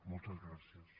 moltes gràcies